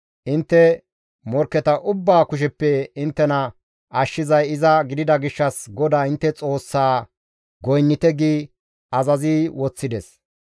Intte morkketa ubbaa kusheppe inttena ashshizay iza gidida gishshas GODAA intte Xoossas goynnite» gi azazi woththides.